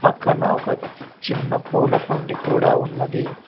పక్కన ఒక చిన్న పూలకుండి కూడా ఉన్నది.